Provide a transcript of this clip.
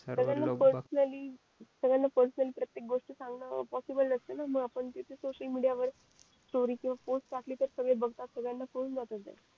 सर्वाना पेर्सोनाली प्रत्येक गोष्ट सांगणं पॉसिबल नसते न पण तिथे सोसिअल मीडिया वर स्टोरी किंवा पोस्ट टाकली तर कळून जाते सगळे बघतात ते